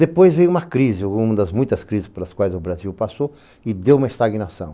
Depois veio uma crise, uma das muitas crises pelas quais o Brasil passou e deu uma estagnação.